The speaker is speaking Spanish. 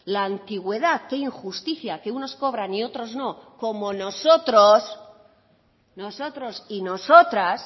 la antigüedad qué injusticia que unos cobran y otros no como nosotros nosotros y nosotras